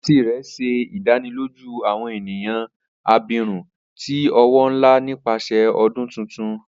Aunty rẹ ṣe idaniloju awọn eniyan abirun ti owo nla nipasẹ ọdun tuntun.